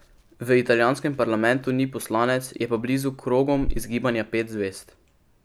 V italijanskem parlamentu ni poslanec, je pa blizu krogom iz Gibanja pet zvezd.